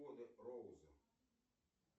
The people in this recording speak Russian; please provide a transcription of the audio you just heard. роузы